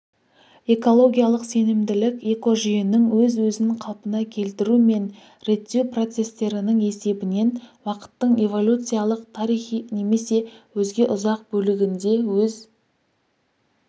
экологиялық сенімділік экожүйенің өз-өзін қалпына келтіру мен реттеу процестерінің есебінен уақыттың эволюциялық тарихи немесе өзге ұзақ бөлігінде өз